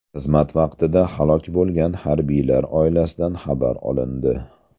Xizmat vaqtida halok bo‘lgan harbiylar oilasidan xabar olindi.